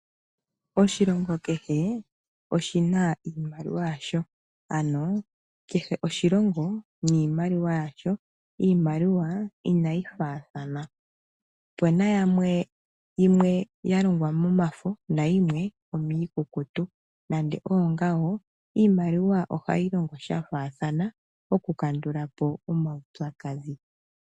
Oshilongo kehe oshi na iimaliwa yasho. Kehe oshilongo niimaliwa yasho, iimaliwa inayi faathana. Opu na yimwe ya longwa momafo nayimwe omiikukutu. Nande oongawo iimaliwa ohayi longo sha faathana oku kandula po omaupyakadhi.